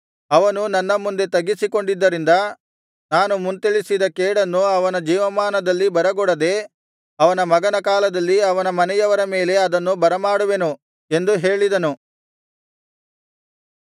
ಅವನು ನನ್ನ ಮುಂದೆ ತಗ್ಗಿಸಿಕೊಂಡಿದ್ದರಿಂದ ನಾನು ಮುಂತಿಳಿಸಿದ ಕೇಡನ್ನು ಅವನ ಜೀವಮಾನದಲ್ಲಿ ಬರಗೊಡದೆ ಅವನ ಮಗನ ಕಾಲದಲ್ಲಿ ಅವನ ಮನೆಯವರ ಮೇಲೆ ಅದನ್ನು ಬರಮಾಡುವೆನು ಎಂದು ಹೇಳಿದನು